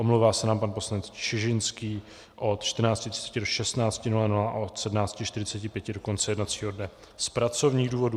Omlouvá se nám pan poslanec Čižinský od 14.30 do 16.00 a od 17.45 do konce jednacího dne z pracovních důvodů.